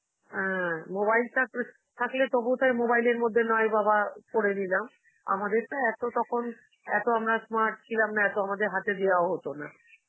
অ্যাঁ mobile থাকলে~ থাকলে তবুও তার mobile এর মধ্যে নয় বাবা করে নিলাম, আমাদের তো এত তখন, এত আমরা smart ছিলাম না, এত আমাদের হাতে দেওয়াও হতো না.